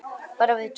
Bara við tvær.